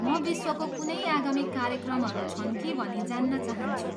म विश्वको कुनै आगामी कार्यक्रमहरू छन् कि भनी जान्न चाहन्छु।